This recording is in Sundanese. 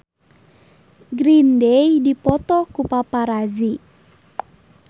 Green Day dipoto ku paparazi